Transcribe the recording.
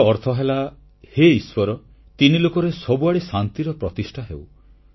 ଏହାର ଅର୍ଥ ହେଲା ହେ ଈଶ୍ୱର ତିନିଲୋକରେ ସବୁଆଡ଼େ ଶାନ୍ତିର ପ୍ରତିଷ୍ଠା ହେଉ